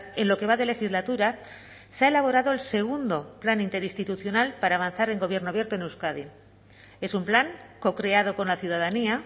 en lo que va de legislatura se ha elaborado el segundo plan interinstitucional para avanzar en gobierno abierto en euskadi es un plan cocreado con la ciudadanía